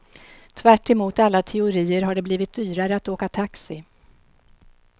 Tvärtemot alla teorier har det blivit dyrare att åka taxi.